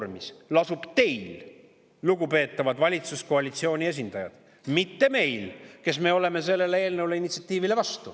Ja nüüd lasub tõendamise koormis teil, lugupeetavad valitsuskoalitsiooni esindajad, mitte meil, kes me oleme selle eelnõu, initsiatiivi vastu.